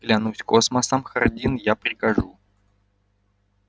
клянусь космосом хардин я прикажу